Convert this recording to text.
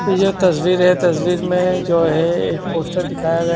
यह तस्वीर है तस्वीर में जो है एक पोस्टर दिखाया गया--